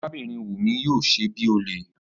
Arábìnrin Wumi yóò ṣe bíi olè